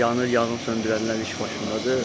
Yanır, yanğın söndürənlər iş başındadır.